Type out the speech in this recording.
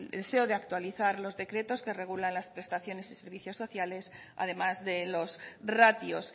deseo de actualizar los decretos que regulan las prestaciones y servicios sociales además de los ratios